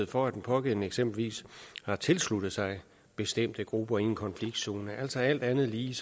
for at den pågældende eksempelvis har tilsluttet sig bestemte grupper i en konfliktzone altså alt andet lige